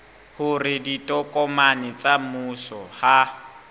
hore ditokomane tsa mmuso ha